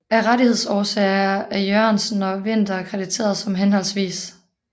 Af rettighedsårsager er Jørgensen og Winther krediteret som hhv